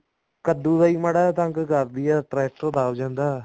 ਕੱਦੂ ਦਾ ਹੀ ਮਾੜਾ ਜਾ ਤੰਗ ਕਰਦੀ ਆ ਟ੍ਰੇਕ੍ਟਰ ਦਬ ਜਾਂਦਾ